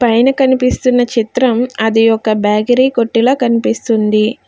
పైన కనిపిస్తున్న చిత్రం అది ఒక బేకరి కొట్టు లా కనిపిస్తుంది.